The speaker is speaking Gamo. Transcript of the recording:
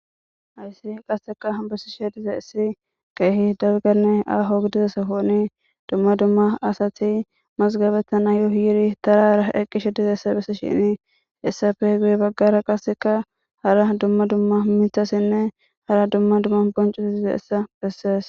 Hayssi qasseka bessishe diza issi geehi dalganne ahogidizesa koni dumma dumma asati masgabetana yu yiri tarara eqqishe diza essa bessi shinii essafeh guye baggara qasseka hara dumma dumma mithasinne hara dumma dumma boncus diza essa bessees.